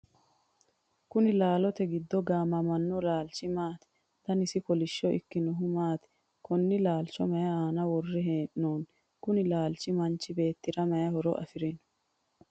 kuni laalote giddo gaamamanno laalchi maati? danasi kolishsho ikkinohu maati? konne laalcho mayi aana worre hee'noonni? kuni laalchi manchi beettira mayi horo afirino?